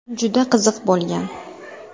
Juda qiziq bo‘lgan.